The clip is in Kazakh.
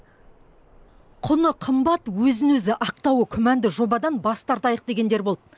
құны қымбат өзін өзі ақтауы күмәнді жобадан бас тартайық дегендер болды